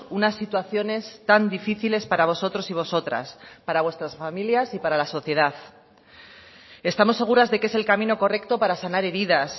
unas situaciones tan difíciles para vosotros y vosotras para vuestras familias y para la sociedad estamos seguras de que es el camino correcto para sanar heridas